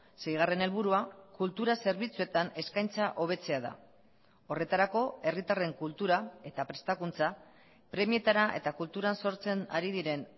seigarren helburua kultura zerbitzuetan eskaintza hobetzea da horretarako herritarren kultura eta prestakuntza premietara eta kulturan sortzen ari diren